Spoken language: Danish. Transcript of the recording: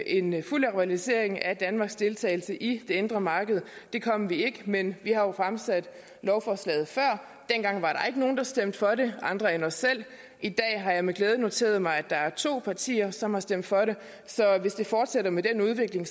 en fuld normalisering af danmarks deltagelse i det indre marked det kom vi ikke men vi har jo fremsat lovforslaget før dengang var der ikke nogen der stemte for det andre end os selv i dag har jeg med glæde noteret mig at der er to partier som har stemt for det så hvis det fortsætter med den udvikling